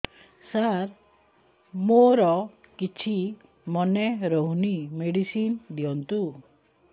ସାର ମୋର କିଛି ମନେ ରହୁନି ମେଡିସିନ ଦିଅନ୍ତୁ